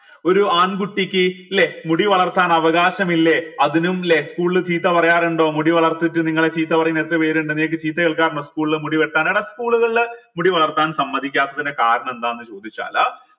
ഒരു ആൺ കുട്ടിക്ക് ല്ലെ മുടി വളർത്താൻ അവകാശമില്ലേ അതിനും ല്ലെ school ൽ ചീത്ത പറയാറുണ്ടോ മുടി വളർതീട്ട് നിങ്ങളെ ചീത്ത പറയുന്ന എത്ര പേരുണ്ട് നിങ്ങൾക്ക് ചീത്ത കേൾക്കാറുണ്ടോ school മുടി വെട്ടാൻ school കളിൽ മുടി വളർത്താൻ സമ്മതിക്കാത്തതിന്റെ കാരണം എന്താന്ന് ചോദിച്ചാൽ